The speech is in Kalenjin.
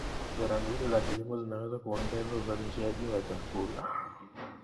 Sera nzuri za kilimo zinaweza kuongeza uzalishaji wa chakula.